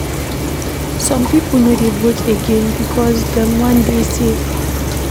Some pipo no dey vote again because dem wan dey safe.